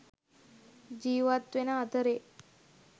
ජිවත් වෙන අතරෙ